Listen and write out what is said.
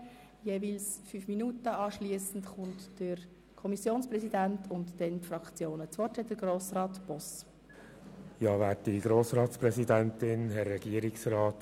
Der Rückweisungsantrag Boss/Grüne, die Anträge GSoK-Minderheit I, GSoK-Minderheit II sowie die vorliegenden Anträge Machado werden nacheinander vorgestellt, miteinander beraten und nacheinander zur Abstimmung gebracht.